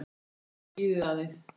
LÁRUS: Bíðið aðeins.